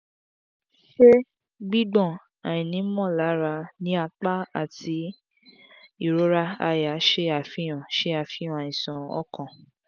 ṣe gbigbọn / aini molara ni apa ati irora àyà ṣe afihan ṣe afihan aisan okan